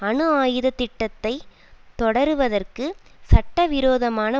அணுஆயுத திட்டத்தை தொடருவதற்கு சட்டவிரோதமான